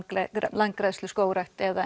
landgræðslu skógrækt eða